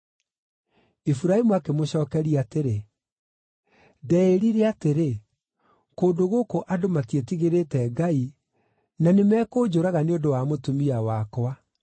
Iburahĩmu akĩmũcookeria atĩrĩ, “Ndeĩrire atĩrĩ, ‘Kũndũ gũkũ andũ matiĩtigĩrĩte Ngai, na nĩmekũnjũraga nĩ ũndũ wa mũtumia wakwa.’